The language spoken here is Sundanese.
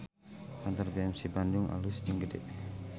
Kantor BMC Bandung alus jeung gede